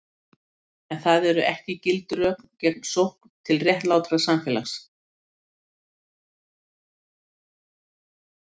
En það eru ekki gild rök gegn sókn til réttlátara samfélags.